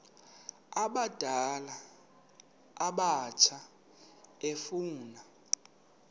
abadala abatsha efuna